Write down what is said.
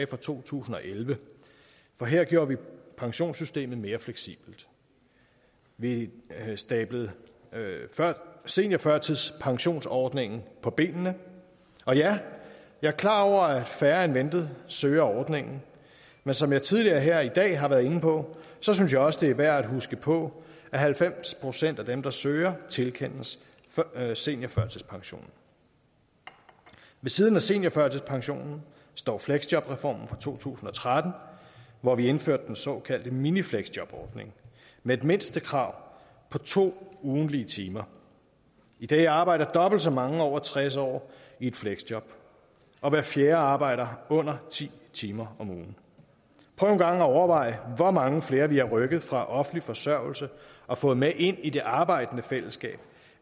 fra to tusind og elleve for her gjorde vi pensionssystemet mere fleksibelt vi stablede seniorførtidspensionsordningen på benene og ja jeg er klar over at færre end ventet søger ordningen men som jeg tidligere her i dag har været inde på synes jeg også at det er værd at huske på at halvfems procent af dem der søger tilkendes seniorførtidspension ved siden af seniorførtidspensionen står fleksjobreformen fra to tusind og tretten hvor vi indførte den såkaldte minifleksjobordning med et mindstekrav på to ugentlige timer i dag arbejder dobbelt så mange over tres år i et fleksjob og hver fjerde arbejder under ti timer om ugen prøv en gang at overveje hvor mange flere vi har rykket fra offentlig forsørgelse og fået med ind i det arbejdende fællesskab